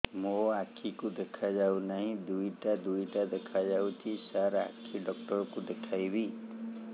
ମୋ ଆଖିକୁ ଦେଖା ଯାଉ ନାହିଁ ଦିଇଟା ଦିଇଟା ଦେଖା ଯାଉଛି ସାର୍ ଆଖି ଡକ୍ଟର କୁ ଦେଖାଇବି